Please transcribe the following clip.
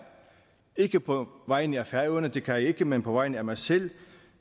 ikke på vegne af færøerne det kan jeg ikke men på vegne af mig selv